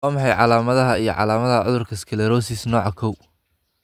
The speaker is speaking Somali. Waa maxay calaamadaha iyo calaamadaha cudurka sclerosis, nooca kow?